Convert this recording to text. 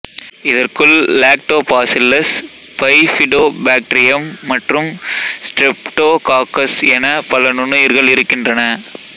இதற்குள் lactobacillus bifidobacterium மற்றும் streptococcus என பல நுண்ணுயிர்கள் இருக்கின்றன